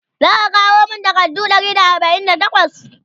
zaka kawo min takardu Ɗari da arbain da takwas?